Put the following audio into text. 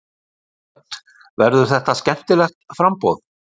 Hödd: Verður þetta skemmtilegt framboð?